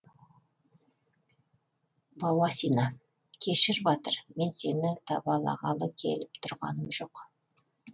бауасина кешір батыр мен сені табалағалы келіп тұрғаным жоқ